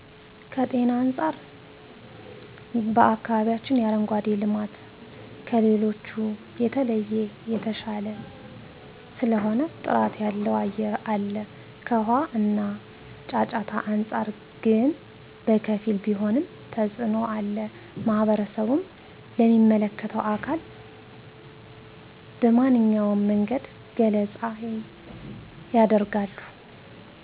ከጤና አንፃር በአከባቢያችን የአረንጓዴ ልማት ከሌሎቹ በተለየ የተሻለ ስለሆነ ጥራት ያለው አየር አለ ከውሃ እና ጫጫታ አንፃር ግን በከፊል ቢሆንም ተፅኖ አለ ማህበረሰቡም ለሚመለከተው አካል በመንኛውም መንገድ ገለፃ የደርጋሉ።